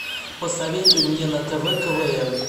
посоветуй мне на тв квн